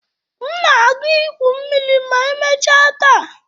M na-aga igwu mmiri ma emechaa taa.